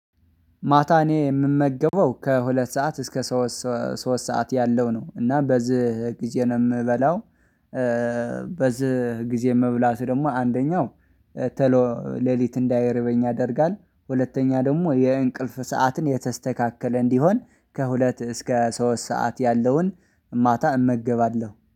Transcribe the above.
ማታ እኔ ምመገበው ከሁለት ሰዓት እስከ ሶስት ሶስ ሶስት ሰዓት ያለው ነው እና በዚህ ጊዜ ነው በላው። በዚህ ጊዜ መብላት ደግሞ አንደኛው ተሎ ሌሊት እንዳይርበኝ ያደርጋል። ሁለተኛ ደሞ የእንቅልፍ ሰዓትን የተስተካከለ እንዲሆን ከሁለት እስከ ሶስት ሰዓት ያለውን ማታ እመገባለሁ